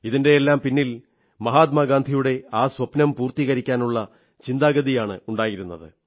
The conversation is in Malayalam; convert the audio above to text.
ഇതിന്റെയെല്ലാം പിന്നിൽ മഹാത്മാഗാന്ധിയുടെ ആ സ്വപ്നം പൂർത്തീകരിക്കാനുള്ള ചിന്താഗതിയാണുണ്ടായിരുന്നത്